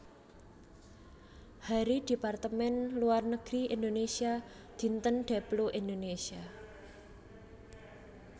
Hari Departemen Luar Negeri Indonésia Dinten Deplu Indonésia